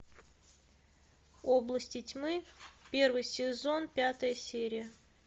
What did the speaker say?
области тьмы первый сезон пятая серия